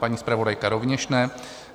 Paní zpravodajka rovněž ne.